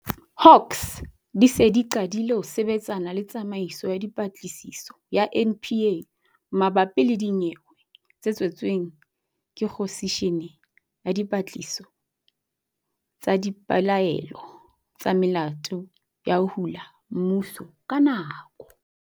Hawks di se di qadile ho sebetsana le Tsamaiso ya Dipatlisiso ya NPA mabapi le dinyewe tse tswetsweng ke khomishene ya dipatlisiso tsa dipelaelo tsa melato ya ho hula mmuso ka nako.